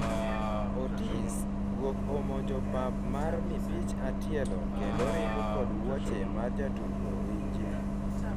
Otis:guok omonjo pap mar mipich atielo kendo ringo kod wuoche mar jatugo, winji